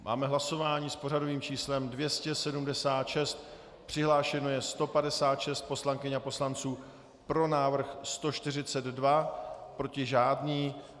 Máme hlasování s pořadovým číslem 276, přihlášeno je 156 poslankyň a poslanců, pro návrh 142, proti žádný.